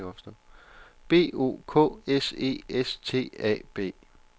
B O K S E S T A B